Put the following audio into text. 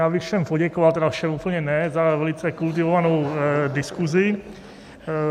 Já bych všem poděkoval - tedy všem úplně ne - za velice kultivovanou diskuzi.